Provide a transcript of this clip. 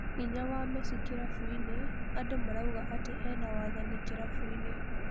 Hinya wa Mesi kĩrabũinĩ andũ marauga atĩ ena-wathani kĩrabũinĩ.